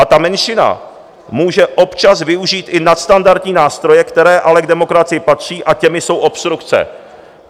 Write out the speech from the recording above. A ta menšina může občas využít i nadstandardní nástroje, které ale k demokracii patří, a těmi jsou obstrukce."